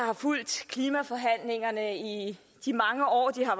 har fulgt klimaforhandlingerne i de mange år de har